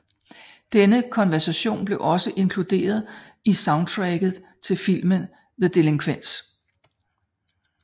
Denne coverversion blev også inkluderet i soundtracket til filmen The Delinquents